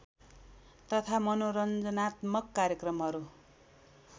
तथा मनोरञ्जनात्मक कार्यक्रमहरू